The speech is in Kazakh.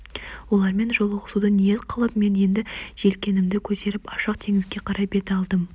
олармен жолығысуды ниет қылып мен енді желкенімді көтеріп ашық теңізге қарай бет алдым